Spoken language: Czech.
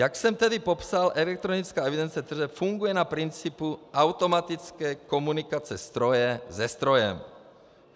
Jak jsem tedy popsal, elektronická evidence tržeb funguje na principu automatické komunikace stroje se strojem.